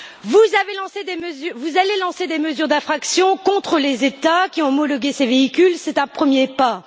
Vous allez lancer des mesures d'infraction contre les États qui ont homologué ces véhicules, c'est un premier pas.